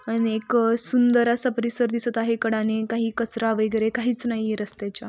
आणि एक सुंदर असा परिसर दिसत आहे. कडाने काही कचरा वैगरे काहीच नाहीये रस्त्याच्या.